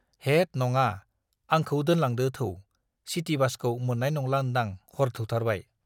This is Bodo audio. हेद नङा, आंखौ दोनलांदो थौ, सिटि बासखौ मोन्नाय नंला ओन्दां हर थौथारबाय।